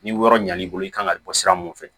Ni yɔrɔ ɲɛn'i bolo i kan ka bɔ sira mun fɛ